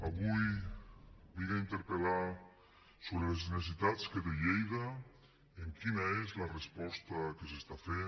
avui vinc a interpel·lar sobre les necessitats que té lleida i quina és la resposta que s’està fent